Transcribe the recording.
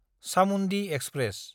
Chamundi express